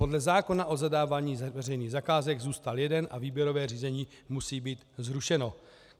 Podle zákona o zadávání veřejných zakázek zůstal jeden a výběrové řízení musí být zrušeno.